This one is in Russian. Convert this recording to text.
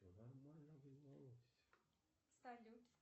салют